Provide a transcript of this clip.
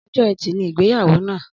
Ọjọ ẹtì ni igbeyawo na